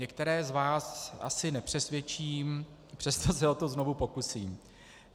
Některé z vás asi nepřesvědčím, přesto se o to znovu pokusím.